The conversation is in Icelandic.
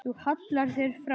Þú hallar þér fram.